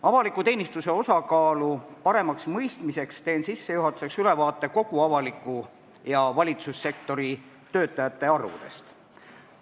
Avaliku teenistuse osakaalu paremaks mõistmiseks annan sissejuhatuseks ülevaate kogu avaliku ja valitsussektori töötajate arvudest.